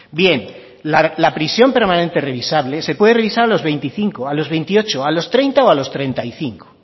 bien la prisión permanente revisable se puede revisar a los veinticinco a los veintiocho a los treinta o a los treinta y cinco